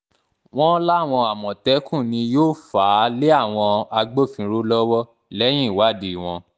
wọ́n láwọn àmọ̀tẹ́kùn ni yóò fà á lé àwọn agbófinró lọ́wọ́ lẹ́yìn ìwádìí wọn